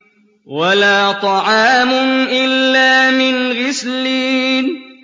وَلَا طَعَامٌ إِلَّا مِنْ غِسْلِينٍ